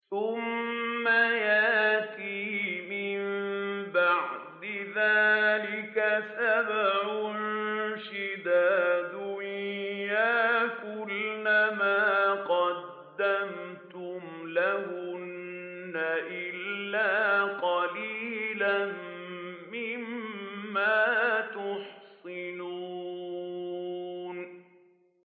ثُمَّ يَأْتِي مِن بَعْدِ ذَٰلِكَ سَبْعٌ شِدَادٌ يَأْكُلْنَ مَا قَدَّمْتُمْ لَهُنَّ إِلَّا قَلِيلًا مِّمَّا تُحْصِنُونَ